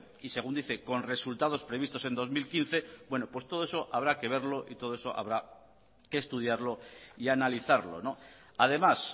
y según dice con resultados previstos en dos mil quince bueno pues todo eso habrá que verlo y todo eso habrá que estudiarlo y analizarlo además